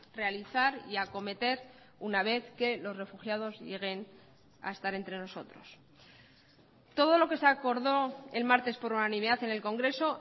realizar y acometer una vez que los refugiados lleguen a estar entre nosotros todo lo que se acordó el martes por unanimidad en el congreso